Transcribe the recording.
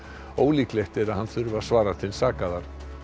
ólíklegt er að hann þurfi að svara til saka þar